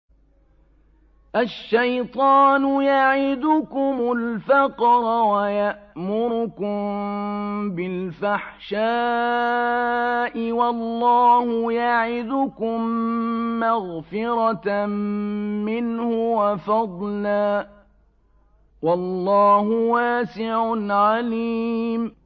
الشَّيْطَانُ يَعِدُكُمُ الْفَقْرَ وَيَأْمُرُكُم بِالْفَحْشَاءِ ۖ وَاللَّهُ يَعِدُكُم مَّغْفِرَةً مِّنْهُ وَفَضْلًا ۗ وَاللَّهُ وَاسِعٌ عَلِيمٌ